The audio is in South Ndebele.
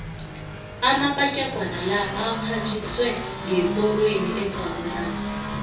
amapatlagwana la akghatjiswe ngekoleni esarulani